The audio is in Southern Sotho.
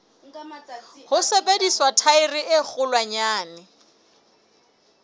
ho sebedisa thaere e kgolwanyane